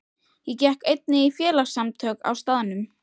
Ég gekk einnig í félagasamtök á staðnum.